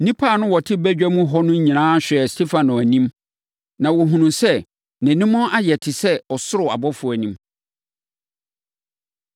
Nnipa a na wɔte badwa mu hɔ no nyinaa hwɛɛ Stefano anim, na wɔhunuiɛ sɛ nʼanim ayɛ te sɛ ɔsoro ɔbɔfoɔ anim.